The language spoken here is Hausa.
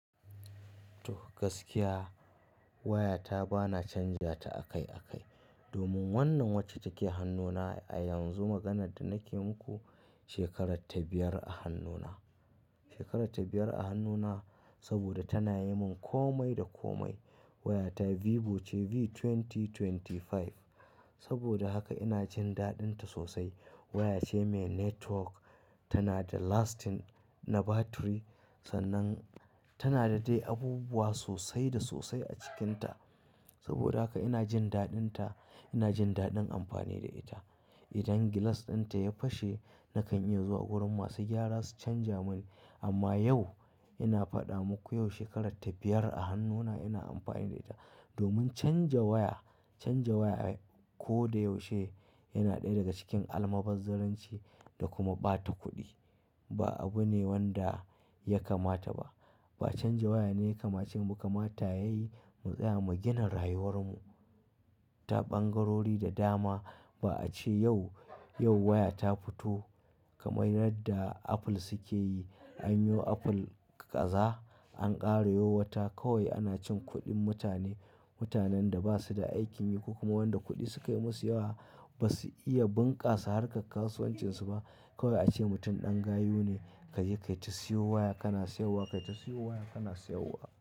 To, gaskiya waya ta ba na canja ta akai akai. Domin wannan wacce take hannuna a yanzu, maganar da na ke muku shekarar ta biyar a hannuna. Shekarar ta biyar a hannuna saboda tana yi min komai da komai. Wayata Vivo ce V2025. Saboda haka ina jin daɗinta sosai. Waya ce mai network, tana da lasting na battery, sannan tana da dai abubuwa sosai da sosai a cikinta. Saboda haka ina jin daɗinta, ina jin daɗin amfani da ita. Idan glass dinta ya fashe nakan iya zuwa wurin masu gyara su canja mun. Amma yau ina faɗa muku yau shekarar ta biyar a hannuna ina amfani da ita. Domin canja waya, canja waya ko da yaushe yana ɗaya daga cikin almubazzaranci da kuma ɓata kuɗi. Ba abu ne wanda ya kamata ba. Ba canja waya ne kamacin mu kamata yayi mu tsaya mu gina rayuwar mu ta ɓangarori da dama. Ba a ce yau, yau waya ta fito kamar yadda Apple suke yi. An yi wa Apple kaza, an ƙara yo wata. Kowai ana cin kuɗin mutane. Mutanen da ba su da aikin yi ko kuma wanda kuɗi suka yi masu yawa ba su iya bunƙasa harka kasuwancin su ba. Kowai a ce mutum ɗan gayu ne. "Kaje kayi ta siyo waya kana siyarwa, kayi ta siyo waya kana siyarwa."